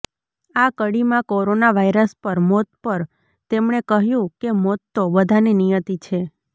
આ કડીમાં corona virus પર મોત પર તેમણે કહ્યું કે મોત તો બધાની નિયતિ છે